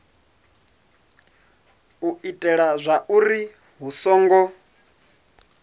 u itela zwauri hu songo